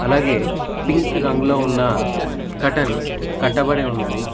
అలాగే పింక్ రంగులో ఉన్న కర్టెన్ కట్టబడి ఉన్నది.